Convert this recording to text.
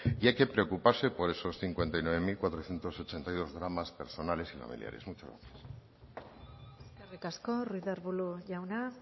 y hay que preocuparse por esos cincuenta y nueve mil cuatrocientos ochenta y dos dramas personales y familiares muchas gracias eskerrik asko ruiz de arbulo jauna